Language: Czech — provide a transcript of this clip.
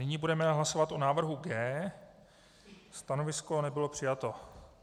Nyní budeme hlasovat o návrhu G. Stanovisko nebylo přijato.